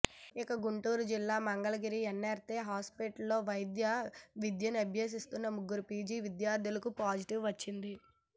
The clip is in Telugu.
ఇక గుంటూరు జిల్లా మంగళగిరి ఎన్నారై ఆస్పత్రిలో వైద్య విద్యనభ్యసిస్తున్న ముగ్గురు పీజీ విద్యార్ధులకు పాజిటివ్ వచ్చింది